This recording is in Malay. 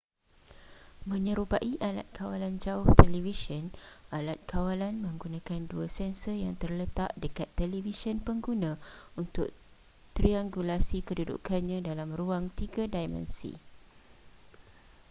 menyerupai alat kawalan jauh televisyen alat kawalan menggunakan dua sensor yang terletak dekat televisyen pengguna untuk triangulasi kedudukannya dalam ruang tiga dimensi